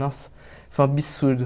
Nossa, foi um absurdo.